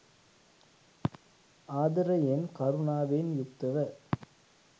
ආදරයෙන්, කරුණාවෙන් යුක්තව